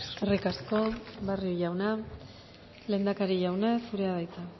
eskerrik asko barrio jauna lehendakari jauna zurea da hitza